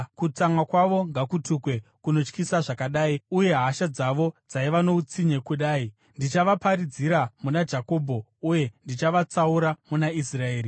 Kutsamwa kwavo ngakutukwe, kunotyisa zvakadai, uye hasha dzavo, dzaiva noutsinye kudai! Ndichavaparadzira muna Jakobho uye ndigovatsaura muna Israeri.